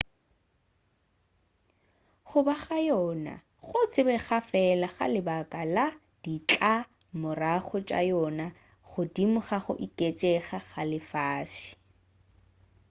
go ba ga yona go tsebega fela ka lebaka la ditlamorago tša yona godimo ga go oketšega ga lefase